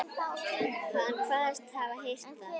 Hann kvaðst hafa heyrt að